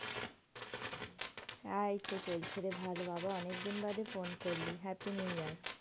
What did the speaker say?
হ্যাঁ এইতো চলছে রে ভালো বাবা অনেকদিন বাদে phone করলি। happy new year.